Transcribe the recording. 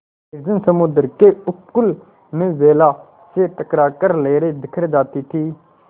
निर्जन समुद्र के उपकूल में वेला से टकरा कर लहरें बिखर जाती थीं